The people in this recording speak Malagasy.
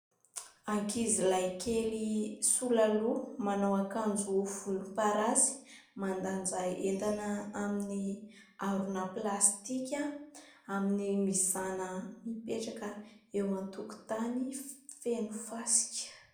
Ankizilahy kely sola loha, manao akanjo volomparasy. Mandanja entana amin'ny harona plastika amin'ny mizàna mipetraka eo an-tokotany feno fasika.